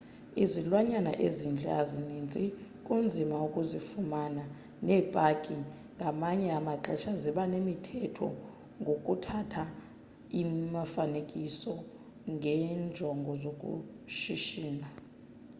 izilwanyana ezintle azininzi kunzima ukuzifumana, neepaki ngamanye amaxesha ziba nemithetho ngokuthatha imifaanekiso ngenjongo zokushishina